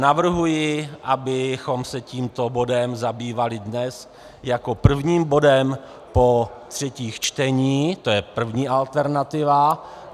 Navrhuji, abychom se tímto bodem zabývali dnes jako prvním bodem po třetích čteních, to je první alternativa.